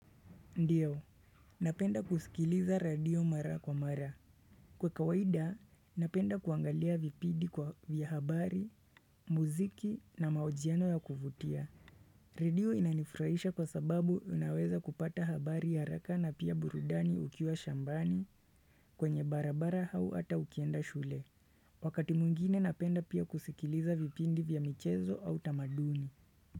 Ndiyo, napenda kusikiliza radio mara kwa mara Kwa kawaida, napenda kuangalia vipidi kwa vya habari, muziki na maojiano ya kuvutia radio inanifurahisha kwa sababu unaweza kupata habari ya haraka na pia burudani ukiwa shambani kwenye barabara hau ata ukienda shule Wakati muingine napenda pia kusikiliza vipindi vya michezo au tamaduni.